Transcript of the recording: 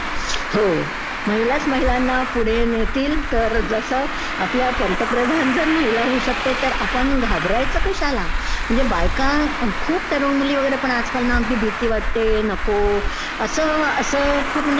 हो महिलाच महिलांना पुढे नेतील तर, जसं आपल्या पंतप्रधान जर महिला होऊ शकते तर आपण घाबरायचं कशाला? म्हणजे बायका खूप तरूण मुली वगैरे पण आजकाल ना खूप भिती वाटते, नको